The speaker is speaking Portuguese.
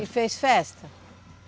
E fez festa?